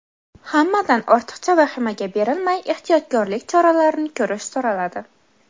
Hammadan ortiqcha vahimaga berilmay, ehtiyotkorlik choralarini ko‘rish so‘raladi.